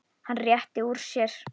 Hann réttir úr sér.